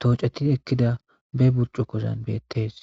tooceti ekida be burcukozan beetes.